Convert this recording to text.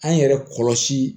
An yɛrɛ kɔlɔsi